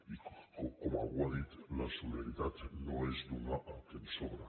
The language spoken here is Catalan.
i com algú ha dit la solidaritat no és donar el que ens sobra